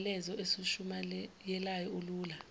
myalezo esiwushumayelayo ulula